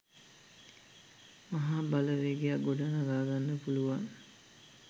මහා බලවේගයක් ගොඩනඟා ගන්න පුළුවන්.